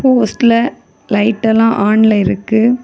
போஸ்ட்ல லைட் எல்லா ஆன்ல இருக்கு.